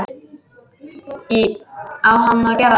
Á hann að gera það?